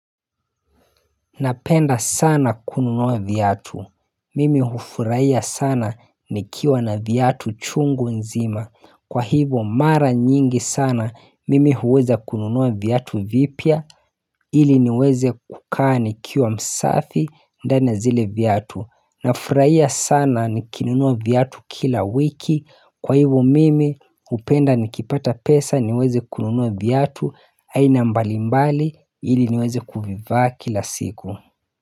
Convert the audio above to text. Napenda sana kununua viatu. Mimi hufurahia sana nikiwa na viatu chungu nzima. Kwa hivyo mara nyingi sana mimi huweza kununua viatu vipya ili niweze kukaa nikiwa msafi ndani na zile viatu. Nafurahia sana nikinunua viatu kila wiki kwa hivyo mimi hupenda nikipata pesa niweze kununua viatu aina mbalimbali ili niweze kuvivaa kila siku.